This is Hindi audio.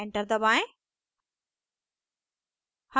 enter दबाएं